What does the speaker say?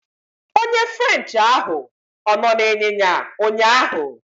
Onye french ahụ ọ nọ n'ịnyịnya ụnyaahụ?